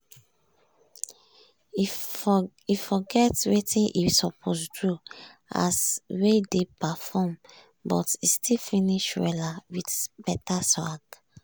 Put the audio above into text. e forget wetin e suppose do as wey dey perform but e still finish wella with better swag